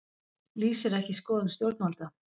Lýsir ekki skoðun stjórnvalda